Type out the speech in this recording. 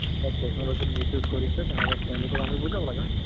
but technology ৰ miss use কৰিছে, আমি তেওঁলোকক বুজাব লাগে, হয় নে নহয় ?